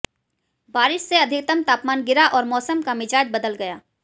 बारिश से अधिकतम तापमान गिरा और मौसम का मिजाज बदल गया